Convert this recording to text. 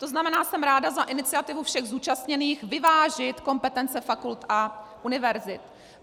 To znamená, jsem ráda za iniciativu všech zúčastněných vyvážit kompetence fakult a univerzit.